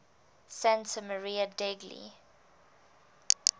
santa maria degli